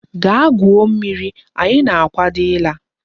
Gaa gwuo mmiri! Anyi na-akwado ila.